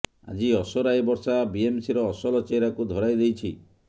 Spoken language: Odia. ଆଜି ଅସରାଏ ବର୍ଷା ବିଏମ୍ସିର ଅସଲ ଚେହେରାକୁ ଧରାଇ ଦେଇଛି